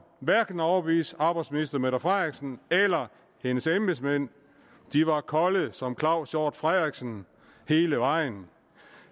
hverken at overbevise arbejdsminister mette frederiksen eller hendes embedsmænd de var kolde som herre claus hjort frederiksen hele vejen